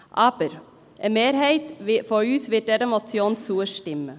Eine Mehrheit von uns wird dieser Motion aber zustimmen.